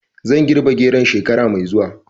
Zan girbi geron shekara mai zuwa